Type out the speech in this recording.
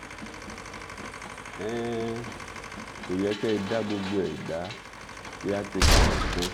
um kò yẹ kẹ́ ẹ dá gbogbo ẹ̀ dá kíátekà nìkan